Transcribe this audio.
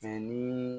ni